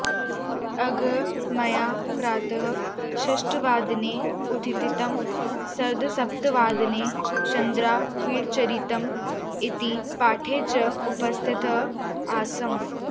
अद्य मया प्रातः षट्वादने उत्थितं सार्धसप्तवादने चन्द्रापीडचरितम् इति पाठे च उपस्तिथः आसम्